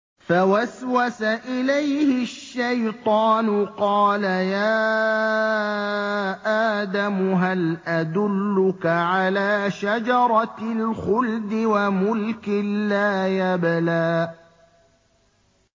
فَوَسْوَسَ إِلَيْهِ الشَّيْطَانُ قَالَ يَا آدَمُ هَلْ أَدُلُّكَ عَلَىٰ شَجَرَةِ الْخُلْدِ وَمُلْكٍ لَّا يَبْلَىٰ